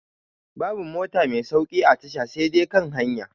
Babu mota mai sauƙi a tasha sai dai kan hanya